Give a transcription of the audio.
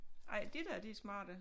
Ej de der de er smarte